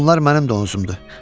Onlar mənim donuzumdur.